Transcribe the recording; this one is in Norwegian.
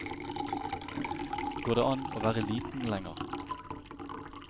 Går det an å være liten lenger?